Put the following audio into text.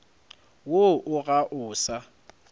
woo o ga o sa